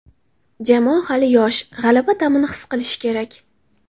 Jamoa hali yosh, g‘alaba ta’mini his qilishi kerak.